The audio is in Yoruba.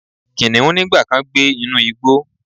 Kiniun nigba kan gbe inu igbo